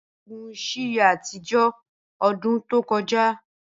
balogun si ye atijọ odun to koja